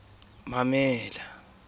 ho ne ho se ya